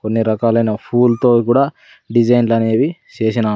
కొన్ని రకాలైన ఫూల్తో కూడా డిజైన్లు అనేవి చేసినా--